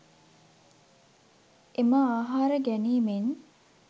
එම ආහාර ගැනීමෙන්